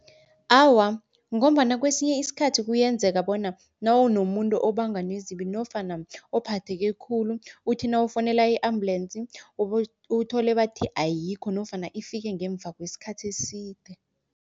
Awa, ngombana kwesinye iskhathi kuyenzeka bona nawunomuntu obangwa nezibi nofana ophatheke khulu, uthi nawufonela i-ambulensi uthole bathi ayikho nofana ifike ngemva kweskhathi eside.